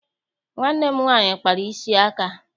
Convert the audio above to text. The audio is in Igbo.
Nwanne m nwaanyị kpara isi aka.